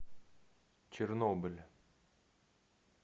чернобыль